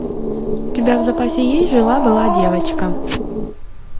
у тебя в запасе есть жила была девочка